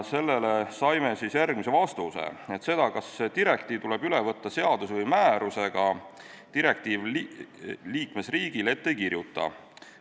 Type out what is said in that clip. Sellele saime vastuseks, et seda, kas direktiiv tuleb üle võtta seaduse või määrusega, ette ei kirjutata.